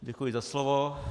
Děkuji za slovo.